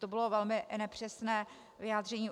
To bylo velmi nepřesné vyjádření.